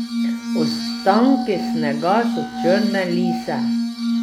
Ostanki snega so črne lise.